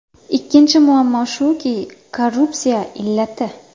Ikkinchi muammo shuki, korrupsiya illati.